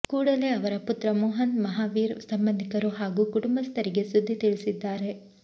ಕೂಡಲೇ ಅವರ ಪುತ್ರ ಮೋಹನ್ ಮಹಾವೀರ್ ಸಂಬಂಧಿಕರು ಹಾಗೂ ಕುಟುಂಬಸ್ಥರಿಗೆ ಸುದ್ದಿ ತಿಳಿಸಿದ್ದಾರೆ